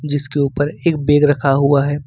जिसके ऊपर एक बैग रखा हुआ है।